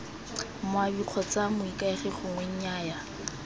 moabi kgotsa moikaegi gongwe nnyaya